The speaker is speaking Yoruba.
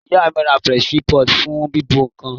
Ìyá mí ra pressure pot fún bíbọ̀ nkan